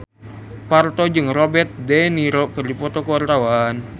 Parto jeung Robert de Niro keur dipoto ku wartawan